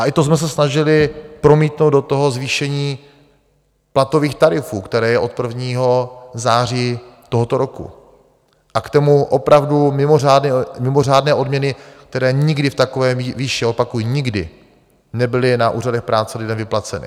A i to jsme se snažili promítnout do toho zvýšení platových tarifů, které je od 1. září tohoto roku, a k tomu opravdu mimořádné odměny, které nikdy v takové výši - opakuji, nikdy - nebyly na úřadech práce lidem vyplaceny.